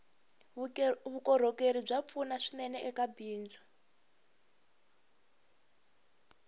vukorhokeri bya pfuna swinene eka bindzu